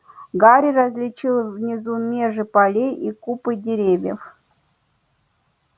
гарри различил внизу межи полей и купы деревьев